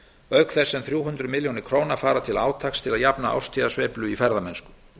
auk þess sem þrjú hundruð milljóna króna fara til átaks til að jafna árstíðasveiflu í ferðamennsku